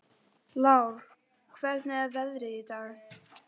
Lár, hvernig er veðrið í dag?